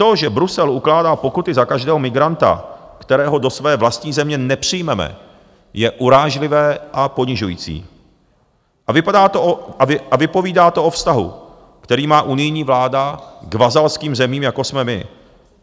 To, že Brusel ukládá pokuty za každého migranta, kterého do své vlastní země nepřijmeme, je urážlivé a ponižující a vypovídá to o vztahu, který má unijní vláda k vazalským zemím, jako jsme my.